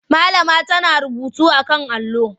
Malama tana rubutu a kan allo.